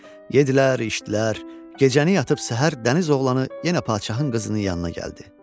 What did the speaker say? Yedilər, içdilər, gecəni yatıb səhər Dəniz oğlu yenə padşahın qızının yanına gəldi.